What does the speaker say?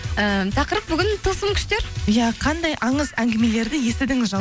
ііі тақырып бүгін тылсым күштер иә қандай аңыз әңгімелерді естідіңіз